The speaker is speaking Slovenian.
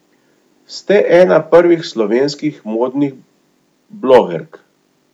Ste ena prvih slovenskih modnih blogerk.